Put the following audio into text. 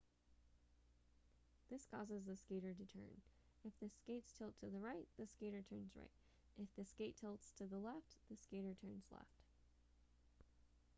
this causes the skater to turn if the skates tilt to the right the skater turns right if the skates tilt to the left the skater turns left